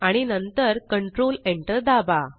आणि नंतर control Enter दाबा